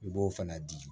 I b'o fana di